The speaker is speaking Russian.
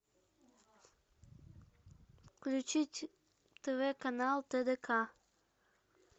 включить тв канал тдк